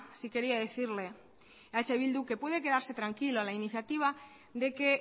sí quería decirle a eh bildu que puede quedarse tranquilo la iniciativa de que